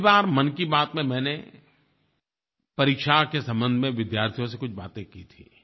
पिछली बार मन की बात में मैंने परीक्षा के संबंध में विद्यार्थियों से कुछ बातें की थीं